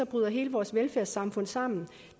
bryder hele vores velfærdssamfund sammen